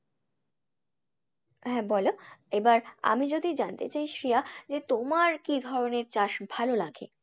হ্যাঁ বলো? এবার আমি যদি জানতে চাই শ্রেয়া যে তোমার কি ধরনের চাষ ভালো লাগে?